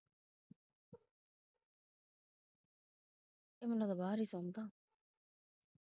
ਇਹ ਮੈਨੂੰ ਲੱਗਦਾ ਬਾਹਰ ਹੀ ਸੌਂਦਾ।